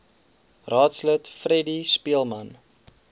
raadslid freddie speelman